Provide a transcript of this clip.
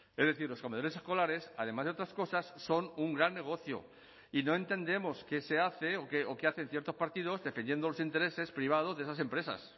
es decir los comedores escolares además de otras cosas son un gran negocio y no entendemos qué se hace o qué hacen ciertos partidos defendiendo los intereses privados de esas empresas